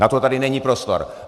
Na to tady není prostor.